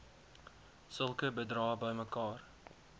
sulke bedrae bymekaar